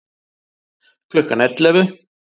Klukkan ellefu